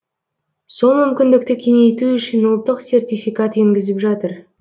сол мүмкіндікті кеңейту үшін ұлттық сертификат енгізіп жатыр